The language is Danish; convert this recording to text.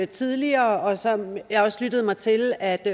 tidligere og som jeg også lyttede mig til at